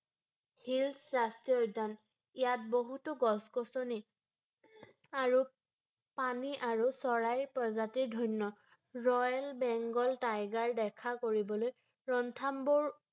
সেউজ ৰাষ্ট্ৰীয় উদ্যান ৷ ইয়াত বহুতো গছ-গছনি আৰু পানী আৰু চৰাইৰ প্ৰজাতিৰে ধন্য ৷ ৰয়েল বেংগল টাইগাৰ দেখা কৰিবলৈ ৰনথাম্বুৰ